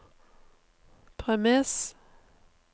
premiss